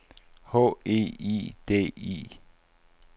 H E I D I